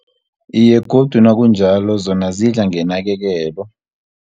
Iye, godu nakunjalo zona zidla ngenakekelo.